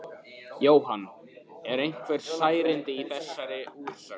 Jóhann: Eru einhver særindi í þessari úrsögn?